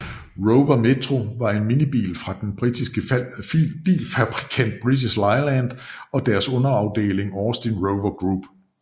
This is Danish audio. Rover Metro var en minibil fra den britiske bilfabrikant British Leyland og deres underafeling Austin Rover Group